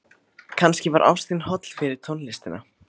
Kannski var ástin holl fyrir tónlistina.